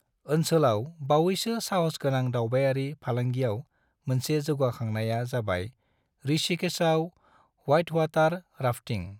ओनसोलाव बावैसो साहस गोनां दावबायारि फालांगियाव मोनसे जौगाखांनाया जाबाय ऋषिकेशआव व्हाइटवाटर राफ्टिंग।